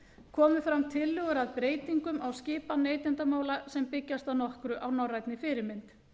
komu fram tillögur að breytingum á skipan neytendamála sem byggjast að nokkru á norrænni fyrirmynd